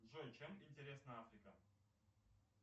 джой чем интересна африка